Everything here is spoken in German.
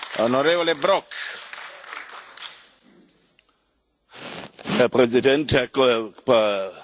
Herr Präsident, Herr Kommissionspräsident, Herr Ratspräsident, Kolleginnen und Kollegen, lieber Michel Barnier!